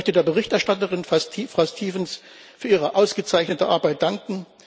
Ich möchte der Berichterstatterin, Frau Stevens, für ihre ausgezeichnete Arbeit danken.